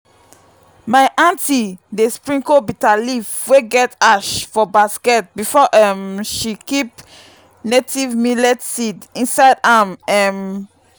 my aunty dey sprinkle bitterleaf wey get ash for basket before um she keep native millet seed inside am um